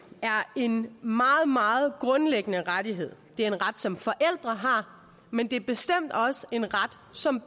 er en meget meget grundlæggende rettighed det er en ret som forældre har men det er bestemt også en ret som